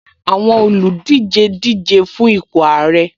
Àwọn olùdíje díje fun ipò ààrẹ